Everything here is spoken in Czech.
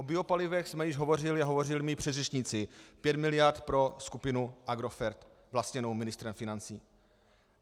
O biopalivech jsme již hovořili a hovořili mí předřečníci - pět miliard pro skupinu Agrofert vlastněnou ministrem financí.